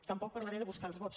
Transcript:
tampoc parlaré de buscar els vots